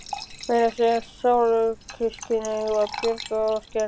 Meira að segja sársaukaskynið var bjagað og skert.